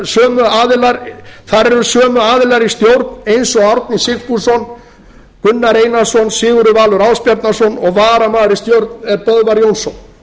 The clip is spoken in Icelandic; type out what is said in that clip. e h f þar eru sömu aðilar í stjórn eins og árni sigfússon gunnar einarsson sigurður valur ásbjarnarson og varamaður í stjórn er böðvar jónsson